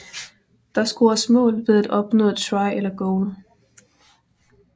Der scores mål ved at opnå Try eller Goal